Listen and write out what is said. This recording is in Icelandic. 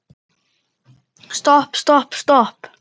Stopp, stopp, stopp.